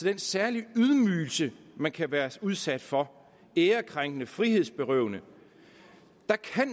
den særlige ydmygelse man kan være udsat for ærekrænkende frihedsberøvende